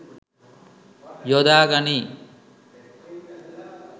යොදා ගනියි.